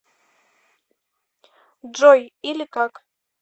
джой или как